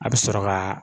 A bɛ sɔrɔ ka